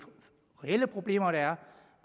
reelle problemer der er